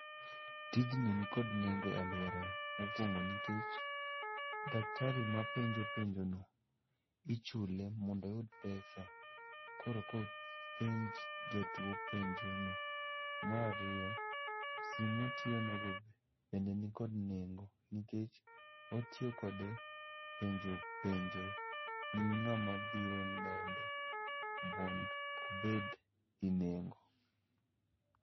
Tijni nikod nengo e alworawa, mokwongo nikech daktari ma penjo penjono ichule mondo oyud pesa koreka openj jatuo penjono. Marariyo, sim motiyono go be nikod nengo nikech otiyo kode penjo penjo ni ng'ama biro nene mond obed gi nengo.